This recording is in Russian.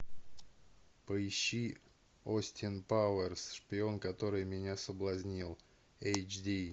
поищи остин пауэр шпион который меня соблазнил эйч ди